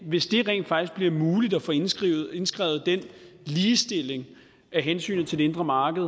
hvis det rent faktisk bliver muligt at få indskrevet indskrevet den ligestilling af hensynet til det indre marked